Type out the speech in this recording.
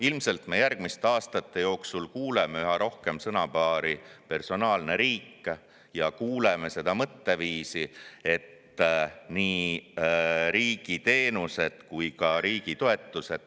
Ilmselt me järgmiste aastate jooksul kuuleme üha rohkem sõnapaari "personaalne riik" ja kuuleme seda mõtteviisi, et nii riigi teenused kui ka riigi toetused …